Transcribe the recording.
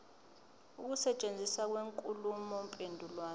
ukusetshenziswa kwenkulumo mpendulwano